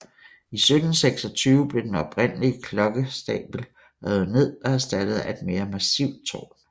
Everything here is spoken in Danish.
I 1726 blev den oprindelige klokkestabel revet ned og erstattet af et mere massivt tårn